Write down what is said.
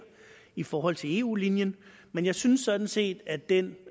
i forhold til eu linjen men jeg synes sådan set at den